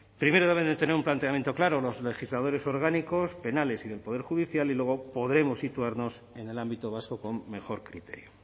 primero deben de tener un planteamiento claro los legisladores orgánicos penales y del poder judicial y luego podremos situarnos en el ámbito vasco con mejor criterio